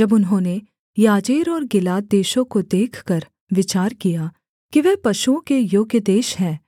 जब उन्होंने याजेर और गिलाद देशों को देखकर विचार किया कि वह पशुओं के योग्य देश है